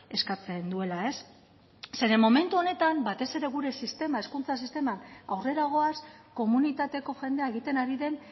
eskatzen duela zeren momentu honetan batez ere gure sistema hezkuntza sisteman aurrera goaz komunitateko jendea egiten ari den